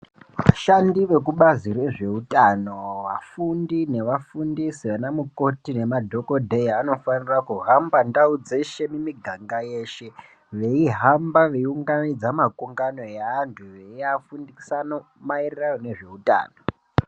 Vashandi vekubazi rezvehutano vafundi nevafundisi vana mukoti emadhokodheya vanofanirwa kuhamba ndau dzeshe muganga yeshe veihamba veyi unganidza makungano evantu veyi afundisa maererano nezveutano.